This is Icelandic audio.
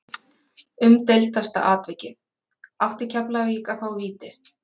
Umdeildasta atvikið Átti Keflavík að fá víti?